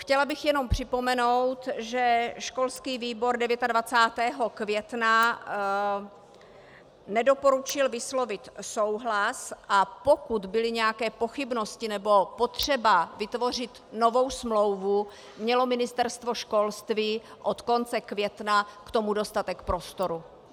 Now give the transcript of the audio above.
Chtěla bych jenom připomenout, že školský výbor 29. května nedoporučil vyslovit souhlas, a pokud byly nějaké pochybnosti nebo potřeba vytvořit novou smlouvu, mělo Ministerstvo školství od konce května k tomu dostatek prostoru.